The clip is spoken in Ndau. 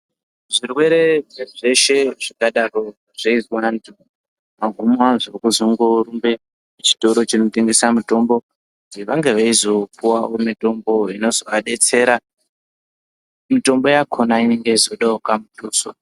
Zvirwere zveshe zvingadaro zveizwa vantu magumo azvo kuzongorumbe kuchitoro chinotengesa mutombo dzevange veizopuwa mitombo inozovadetsera. Mitombo yakhona inenge yeizodawo kamuthuso.